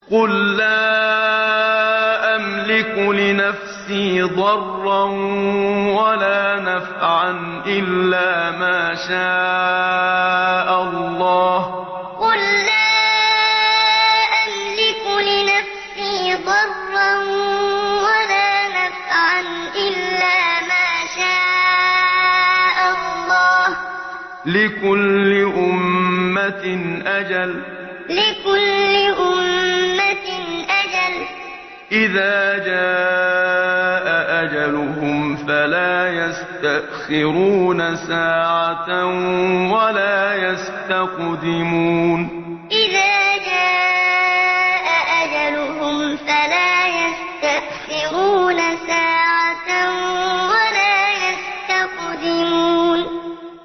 قُل لَّا أَمْلِكُ لِنَفْسِي ضَرًّا وَلَا نَفْعًا إِلَّا مَا شَاءَ اللَّهُ ۗ لِكُلِّ أُمَّةٍ أَجَلٌ ۚ إِذَا جَاءَ أَجَلُهُمْ فَلَا يَسْتَأْخِرُونَ سَاعَةً ۖ وَلَا يَسْتَقْدِمُونَ قُل لَّا أَمْلِكُ لِنَفْسِي ضَرًّا وَلَا نَفْعًا إِلَّا مَا شَاءَ اللَّهُ ۗ لِكُلِّ أُمَّةٍ أَجَلٌ ۚ إِذَا جَاءَ أَجَلُهُمْ فَلَا يَسْتَأْخِرُونَ سَاعَةً ۖ وَلَا يَسْتَقْدِمُونَ